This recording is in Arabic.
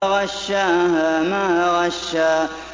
فَغَشَّاهَا مَا غَشَّىٰ